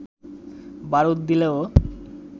বারুদ দিলেও